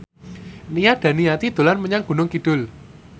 Nia Daniati dolan menyang Gunung Kidul